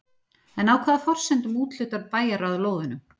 En á hvaða forsendum úthlutar bæjarráð lóðunum?